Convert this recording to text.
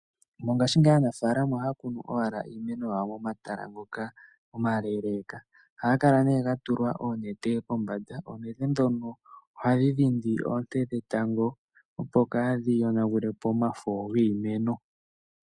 Mongashi ngeyi aanafalama ohaya kunu owala iimeno yawo momatala ngoka omaleleka ohaga kala ga tulwa oonete kombanda. Oonete ndhono ohadhi dhindi oonte dhetango opo kadhi yonagulepo omafo giimeno.